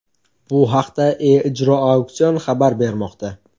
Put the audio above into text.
Bu haqda E-ijro auksion xabar bermoqda.